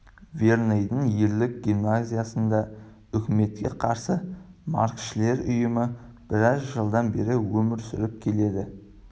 верныйдың ерлер гимназиясында үкіметке қарсы марксшілдер ұйымы біраз жылдан бері өмір сүріп келіпті